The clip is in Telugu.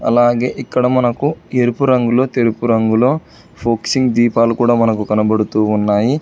అలాగే ఇక్కడ మనకు ఎరుపు రంగులో తెలుపు రంగులో ఫోక్సింగ్ దీపాలు కూడా మనకు కనబడుతూ ఉన్నాయి.